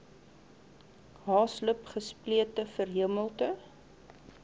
haaslip gesplete verhemelte